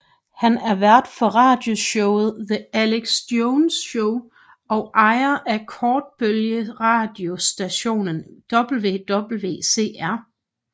Han er vært for radioshowet The Alex Jones Show og ejer af kortbølgeradiostationen WWCR